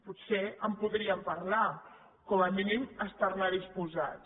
potser en podríem parlar com a mínim estar hi disposats